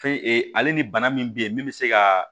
Fɛn ale ni bana min be yen min bɛ se ka